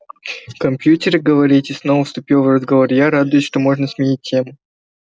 компьютеры говорите снова вступила в разговор я радуясь что можно сменить тему